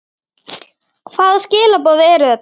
Hvaða skilaboð eru þetta?